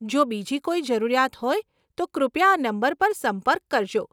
જો બીજી કોઈ જરૂરિયાત હોય તો કૃપયા આ નંબર પર સંપર્ક કરજો.